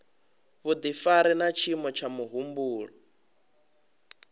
vhudifari na tshiimo tsha muhumbulo